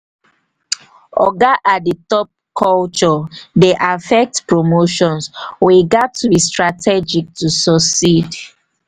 oga at the top culture dey affect promotions; we gats to be strategic to succeed.